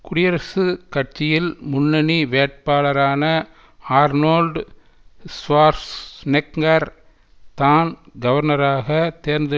குடியரசு கட்சியில் முன்னணி வேட்பாளரான ஆர்னோல்ட் ஷ்வார்ஸ் நெக்கர் தான் கவர்னராகத் தேர்ந்து